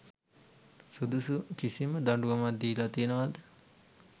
සුදුසු කිසිම දඩුවමක් දීලා තියෙනවද